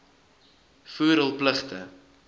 voer hul pligte